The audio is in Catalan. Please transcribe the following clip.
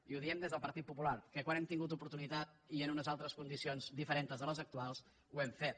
i ho diem des del partit popular que quan hem tingut oportunitat i en unes altres condicions diferents de les actuals ho hem fet